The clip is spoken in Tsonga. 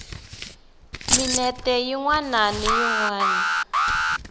minete yin wana na yin